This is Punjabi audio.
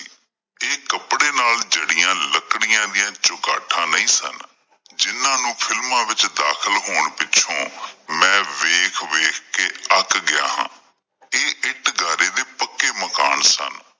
ਇਹ ਕੱਪੜੇ ਨਾਲ ਜੜੀਆਂ ਲੱਕੜੀਆਂ ਦਿਆਂ ਚੁਗਾਠਾਂ ਨਹੀਂ ਸਨ, ਜਿਨਾਂ ਨੂੰ ਫਿਲਮਾਂ ਵਿੱਚ ਦਾਖਿਲ ਹੋਣ ਪਿੱਛੋਂ ਮੈਂ ਵੇਖ ਵੇਖਕੇ ਅਕ ਗਿਆ ਹਾਂ ਇਹ ਇੱਟ ਗਾਰੇ ਦੇ ਪੱਕੇ ਮਕਾਨ ਸਨ।